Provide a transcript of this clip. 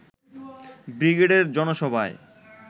ব্রিগেডের জনসভায়